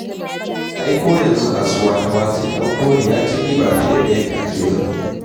Ai ko yanzu kasuwa ta watse ɗan koli ya ci riba fiye da yadda ake zato.